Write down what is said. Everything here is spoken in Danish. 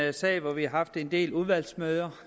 en sag hvor vi har haft en del udvalgsmøder